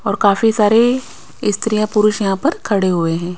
और काफी सारे स्त्रियां पुरुष यहां पर खड़े हुए हैं।